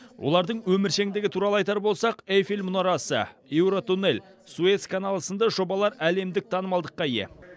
олардың өміршеңдігі туралы айтар болсақ эйфель мұнарасы еуротуннель суэц каналы сынды жобалар әлемдік танымалдыққа ие